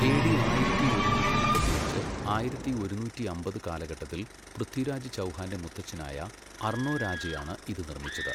A D ആയിരത്തി ഒരുന്നൂറ്റി മുപ്പത്തിയഞ്ച്, ആയിരത്തി ഒരുന്നൂറ്റിയമ്പത് കാലഘട്ടത്തിൽ പൃഥ്വിരാജ് ചൗഹാന്റെ മുത്തച്ഛനായ അർണോരാജയാണ് ഇത് നിർമ്മിച്ചത്.